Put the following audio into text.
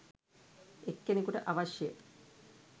එක්කෙනෙකුට අවශ්‍ය